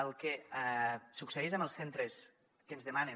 el que succeeix amb els centres que ens demanen